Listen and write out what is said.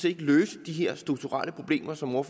ikke løse de her strukturelle problemer som herre